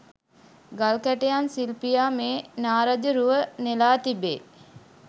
ගල් කැටයම් ශිල්පියා මේ නාරජ රුව නෙළා තිබේ.